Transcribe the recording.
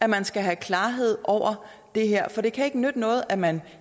man skal have klarhed over det her for det kan ikke nytte noget at man